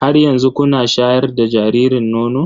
Har yanzu kuna shayar da jaririn nono?